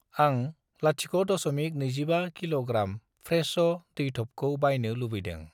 आं 0.25 कि.ग्रा. फ्रे‌श' दैथबखौ बायनो लुबैदों।